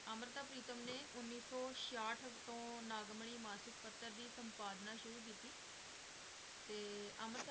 ਅੰਮ੍ਰਿਤਾ ਪ੍ਰੀਤਮ ਨੇ ਉੱਨੀ ਸੌ ਛਿਆਹਠ ਤੋਂ ਨਾਗਮਨੀ ਮਾਸ਼ਿਕ ਪੱਤਰ ਦੀ ਸੰਪਾਦਨਾ ਸ਼ੁਰੂ ਕੀਤੀ ਤੇ ਅੰਮ੍ਰਿਤਾ